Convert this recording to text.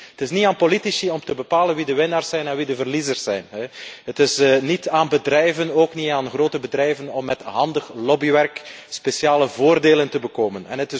Het is niet aan politici om te bepalen wie de winnaars en wie de verliezers zijn. Het is niet aan bedrijven, ook niet aan de grote bedrijven om met handig lobbywerk speciale voordelen te verkrijgen.